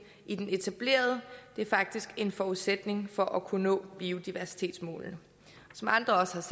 i den etablerede det er faktisk en forudsætning for at kunne nå biodiversitetsmålene som andre har sagt